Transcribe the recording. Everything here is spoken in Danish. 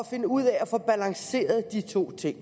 finde ud af at få balanceret de to ting